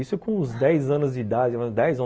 Isso com uns dez anos de idade, dez, on